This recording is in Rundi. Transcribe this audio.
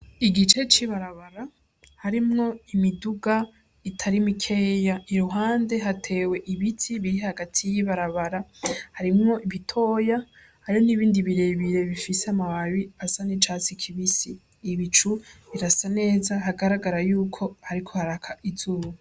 Igice c'ibarabara harimwo imiduga itari mikeya iruhande hatewe ibiti biri hagati y'ibarabara harimwo bitoya hariho n'ibindi birebire bifise ama babi asa n'icatsi kibisi, Ibicu birasa neza hagaragara yuko hariko haraka izuba.